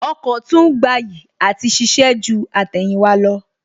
Ọkọ̀ tún gbayì àti ṣiṣẹ́ ju àtẹ̀yìnwá lọ